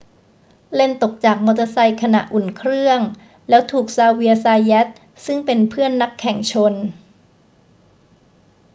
เลนซ์ตกจากมอเตอร์ไซค์ขณะอุ่นเครื่อง แล้วถูกซาเวียร์ ซาแยต ซึ่งเป็นเพื่อนนักแข่งชน